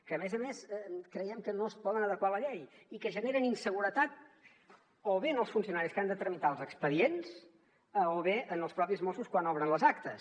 que a més a més creiem que no es poden adequar a la llei i que generen inseguretat o bé en els funcionaris que han de tramitar els expedients o bé en els propis mossos quan obren les actes